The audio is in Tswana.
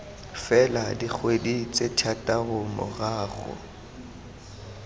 fela dikgwedi tse thataro morago